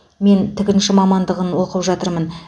мен тігінші мамандығын оқып жатырмын